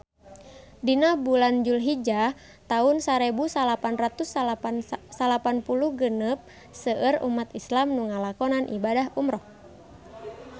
Dina bulan Julhijah taun sarebu salapan ratus salapan puluh genep seueur umat islam nu ngalakonan ibadah umrah